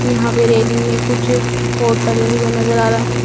यहां पे रेलिंग में कुछ आ रहे हैं।